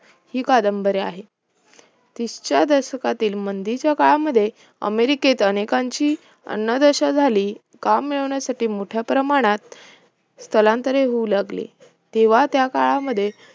ही कादंबऱ्या आहेत विसच्या दशकातील मंदीच्या काळामध्ये अमेरिकेत अनेकांची अन्नदशा झाली काम मिळवण्यासाठी मोठ्याप्रमाणात स्थलांतरे होऊ लागली तेव्हा त्या काळामध्ये